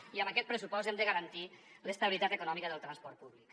i amb aquest pressupost hem de garantir l’estabilitat econòmica del transport públic